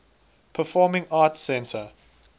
performing arts center